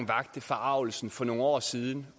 vakte forargelse for nogle år siden